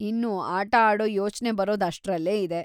ಇನ್ನು ಆಟ ಆಡೋ ಯೋಚ್ನೆ ಬರೋದ್‌ ಅಷ್ಟ್ರಲ್ಲೇ ಇದೆ.